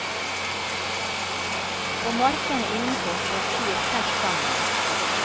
På markene innenfor står kyr tett sammen.